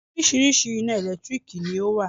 Oríṣiríṣi ina ẹ̀lẹ́tírìkì ni ọ wá.